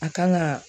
A kan ga